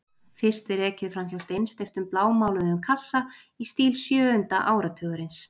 Fyrst er ekið fram hjá steinsteyptum blámáluðum kassa í stíl sjöunda áratugarins.